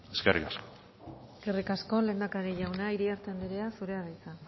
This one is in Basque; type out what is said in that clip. eskerrik asko eskerrik asko lehendakari jauna iriarte anderea zurea da hitza